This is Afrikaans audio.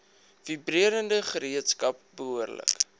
vibrerende gereedskap behoorlik